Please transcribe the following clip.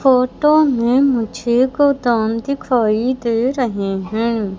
Photo में मुझे गोदाम दिखाई दे रहे हैं।